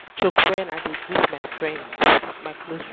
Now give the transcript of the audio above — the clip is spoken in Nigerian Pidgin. joke wen i dey greet my close friends.